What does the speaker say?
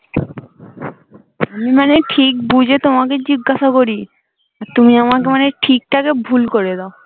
মানে ঠিক বুঝে তোমাকে জিজ্ঞাসা করি। তুমি আমাকে মানে ঠিকটা কে ভুল করে দাও।